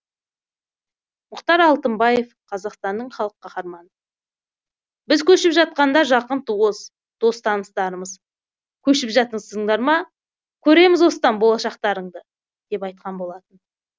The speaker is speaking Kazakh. мұхтар алтынбаев қазақстанның халық қаһарманы біз көшіп жатқанда жақын туыс дос таныстарымыз көшіп жатырсыңдар ма көреміз осыдан болашақтарыңды деп айтқан болатын